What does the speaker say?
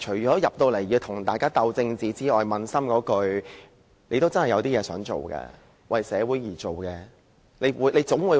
在立法會，大家除了政治鬥爭外，其實撫心自問，大家應該有真正想為社會做的事。